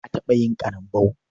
Na taɓa yin ƙarambau.